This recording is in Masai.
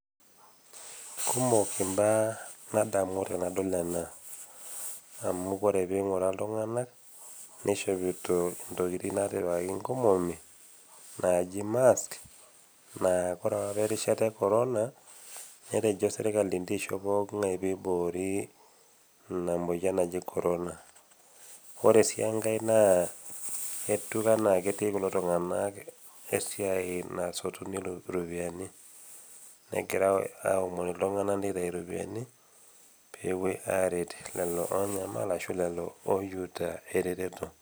Kumok imbaa nadamu tenadol ena, amu ore pee ing'uraa iltung'ana, neishopito intokitin naitipikaki inkomomi, naaji mask naa ore opa erishata e corona, netejo sirkali incho eishop pooking'ai pee eiboori Ina moyian naji corona. Ore sii enkai naa etiu anaa ketii kulo tung'ana esiai nasotuni iropiani, egirai aomonu iltung'ana meitayi iropiani pee epuoi aitayu iropiani peepuo aret lelo tung'ana oonyamal ashu lelo lelo oyieta eretoto.